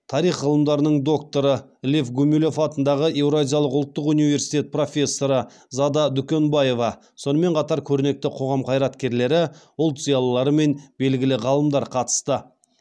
тарих ғылымдарының докторы лев гумилев атындағы еуразия ұлттық университет профессоры зада дүкенбаева сонымен қатар көрнекті қоғам қайраткерлері ұлт зиялылары мен белгілі ғалымдар қатысты